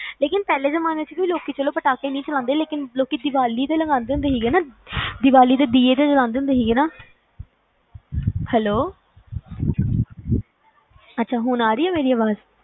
ਲੇਕਿਨ ਪਹਿਲਾ ਜਮਾਏ ਚ ਲੋਕੀ ਚਲੋ ਪਟਾਕੇ ਨਹੀਂ ਚਲੌਂਦੇ ਸੀ ਲੇਕਿਨ ਦੀਵਾਲੀ ਤਾ ਲਗਾਂਦੇ ਹੁੰਦੇ ਸੀ ਦੀਵਾਲੀ ਤੇ ਦੀਏ ਤਾ ਤੇ ਜਲਾਂਦੇ ਸੀ ਹੈਲੋ hello ਅੱਛਾ ਹੁਣ ਆ ਰੀ ਆ ਮੇਰੀ ਅਵਾਜ